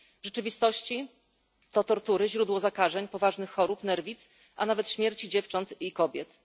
W rzeczywistości to tortury, źródło zakażeń, poważnych chorób, nerwic, a nawet śmierci dziewcząt i kobiet.